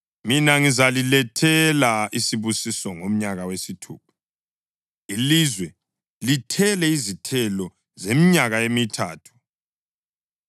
Mina ngizalilethela isibusiso ngomnyaka wesithupha, ilizwe lithele izithelo zeminyaka emithathu.